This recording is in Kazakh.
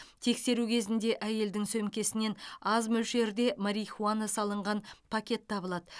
тексеру кезінде әйелдің сөмкесінен аз мөлшерде марихуана салынған пакет табылады